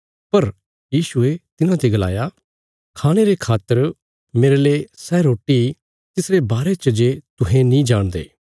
पर यीशुये तिन्हांते गलाया खाणे रे खातर मेरेले सै रोटी तिसरे बारे च जे तुहें नीं जाणदे